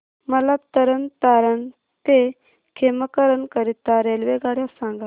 मला तरण तारण ते खेमकरन करीता रेल्वेगाड्या सांगा